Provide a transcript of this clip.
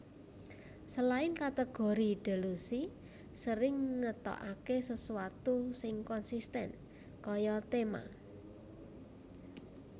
Selain kategori Delusi sering ngetokake sesuatu sing konsisten kaya tema